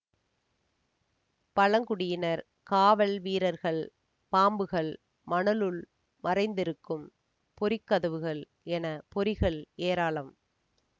பழங்குடியினர் காவல் வீரர்கள் பாம்புகள் மணலுள் மறைந்திருக்கும் பொறி கதவுகள் என பொறிகள் ஏராளம்